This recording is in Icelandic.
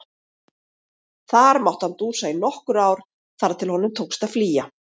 Þar mátti hann dúsa í nokkur ár þar til honum tókst að flýja.